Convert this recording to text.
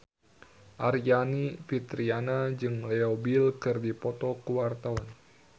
Aryani Fitriana jeung Leo Bill keur dipoto ku wartawan